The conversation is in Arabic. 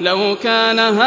لَوْ كَانَ هَٰؤُلَاءِ